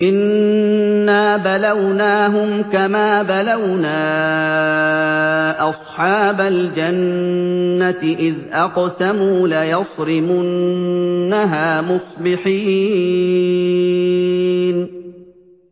إِنَّا بَلَوْنَاهُمْ كَمَا بَلَوْنَا أَصْحَابَ الْجَنَّةِ إِذْ أَقْسَمُوا لَيَصْرِمُنَّهَا مُصْبِحِينَ